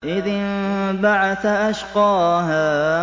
إِذِ انبَعَثَ أَشْقَاهَا